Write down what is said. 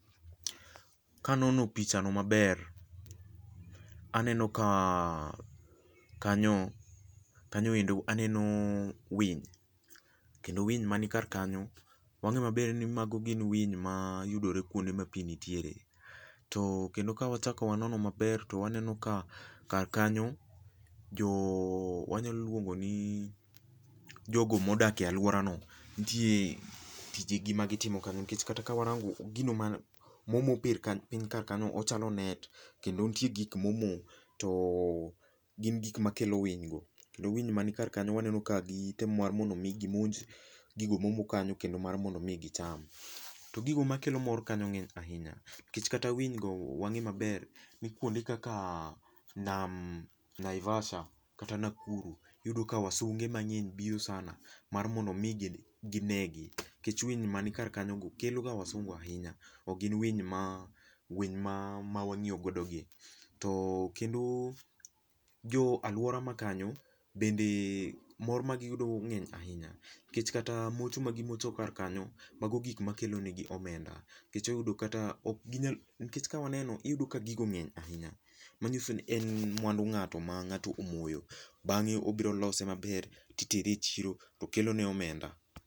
Kanono pichano maber, to aneno ka kanyo, kanyoendo, aneno winy. Kendo winy man kar kanyo, wang'e maber ni mago gin winy ma yudore kuonde ma pii nitiere. To kendo ka wachako wanono maber to waneno ka kar kanyo, jo, wanyalo luongo ni jogo modak e alworano, nitie tijegi ma gitimo kanyo. Nikech kata ka warango gino ma moro mober kar piny kar kanyo ochalo net, kendo nitie gik ma omo ,to gin gik makelo winygo. Kendo winy mani kar kanyo waneno ka gitemo mar mondo mi gimonj gigo momo kanyo kendo mar mondo mi gicham. To gigo makelo mor kanyo ng'eny ahinya, nikech kata winygo wang'e maber ni kuonde kaka nam Naivasha kata Nakuru iyudo ka wasunge mang'eny biro sana mar mondo mi ginegi. Nikech winy mani kar kanyogo keloga wasungu ahinya, ok gin winy ma ,winy ma wang'iyogodo gi. To kendo, jo aluora makanyo bende mor ma giyudo ng'eny ahinya, nikech kata mocho ma gimocho kar kanyo, mago gik makelonegi omenda .Nikech oyudo kata ok ginyal, nikech ka waneno iyudo ka gigo ng'eny ahinya .Manyiso ni en mwandu ng'ato ma ng'ato omoyo bang'e obiro lose maber titere e chiro to kelone omenda.